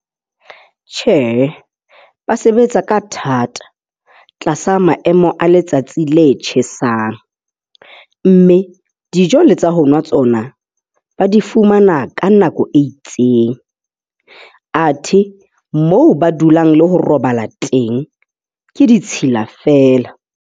Tjhee, ba sebetsa ka thata tlasa maemo a letsatsi le tjhesang mme dijo le tsa honwa tsona, ba di fumana ka nako e itseng. Athe moo ba dulang le ho robala teng ke ditshila feela.